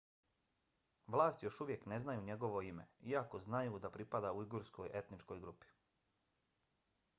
vlasti još uvijek ne znaju njegovo ime iako znaju da pripada ujgurskoj etničkoj grupi